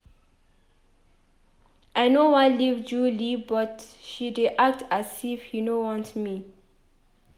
I no wan leave Julie but she dey act as if he no want me